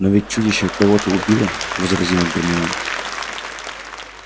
но ведь чудище кого-то убило возразила гермиона